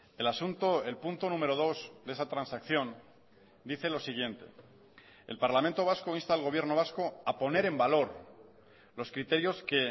el asunto el punto número dos de esa transacción dice lo siguiente el parlamento vasco insta al gobierno vasco a poner en valor los criterios que